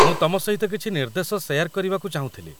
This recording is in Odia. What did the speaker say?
ମୁଁ ତମ ସହିତ କିଛି ନିର୍ଦ୍ଦେଶ ଶେୟାର କରିବାକୁ ଚାହୁଁଥିଲି